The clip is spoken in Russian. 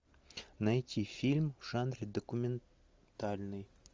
найти фильм в жанре документальный